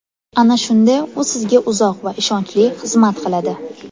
Ana shunda u sizga uzoq va ishonchli xizmat qiladi.